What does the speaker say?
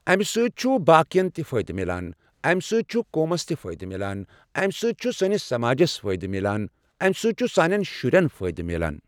امہِ سۭتۍ چھُ باقٮ۪ن تہِ فٲیدٕ میلان۔ اَمہِ سۭتۍ چھُ قومَس تہِ فٲیدٕ میٛلان۔ اَمہِ سۭتۍ چھُ سٲنِس سَماجس فٲیدٕ میٛلان۔ اَمہِ سۭتۍ چھُ ساٮنٮ۪ن شرٮ۪ن فٲیدٕ میٛلان۔